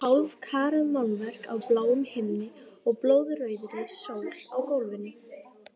Hálfkarað málverk af bláum himni og blóðrauðri sól á gólfinu.